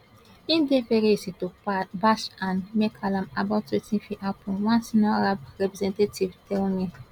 e dey very easy to bash and make alarm about wetin fit happun one senior arab representative tell me